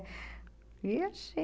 E assim...